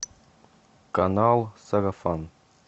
канал сарафан